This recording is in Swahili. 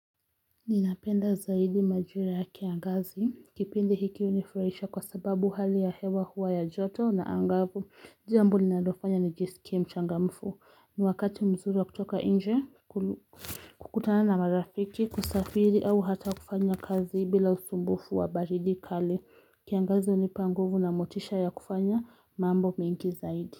Ninapenda zaidi majira ya kiangazi kipindi hiki unifurahisha kwa sababu hali ya hewa huwa ya joto anangavu jambo linalofanya nijisikie mchangamfu ni wakati mzuru wa kutoka nje kukutana na marafiki kusafiri au hata kufanya kazi bila usumbufu wa baridi kali kiangazi unipa nguvu na motisha ya kufanya mambo mingi zaidi.